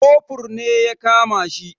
Kofur ne ya kama shi.